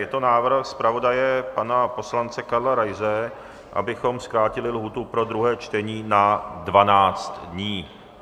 Je to návrh zpravodaje pana poslance Karla Raise, abychom zkrátili lhůtu pro druhé čtení na 12 dní.